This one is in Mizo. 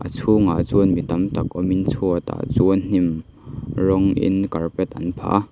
a chhungah chuan mi tam tak awmin chhuatah chan hnim rawng in carpet an phah a.